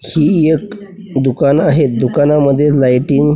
ही एक दुकान आहे दुकानामध्ये लायटिंग --